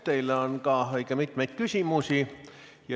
Teile on ka õige mitmeid küsimusi.